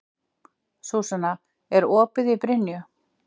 Súsanna, er opið í Brynju?